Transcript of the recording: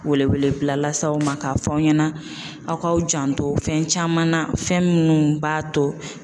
Wele wele bila las'aw ma k'a fɔ aw ɲɛna aw kaw janto fɛn caman na fɛn minnu b'a to.